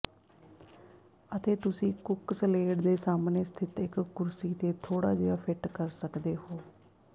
ਅਤੇ ਤੁਸੀਂ ਕੁੱਕਸਲੇਡ ਦੇ ਸਾਹਮਣੇ ਸਥਿਤ ਇਕ ਕੁਰਸੀ ਤੇ ਥੋੜਾ ਜਿਹਾ ਫਿੱਟ ਕਰ ਸਕਦੇ ਹੋ